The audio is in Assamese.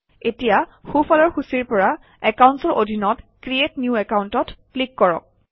এতিয়া সোঁফালৰ সূচীৰ পৰা একাউণ্টচৰ অধীনত ক্ৰিএট নিউ Account অত ক্লিক কৰক